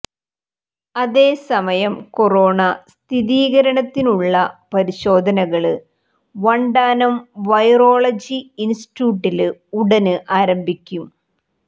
അതേസമയം കൊറോണ സ്ഥിരീകരണത്തിനുള്ള പരിശോധനകള് വണ്ടാനം വൈറോളജി ഇന്സ്റ്റിറ്റ്യൂട്ടില് ഉടന് ആരംഭിക്കും